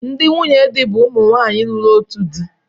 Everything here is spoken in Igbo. Ndị nwunye di bụ ụmụ nwaanyi lụrụ otu di.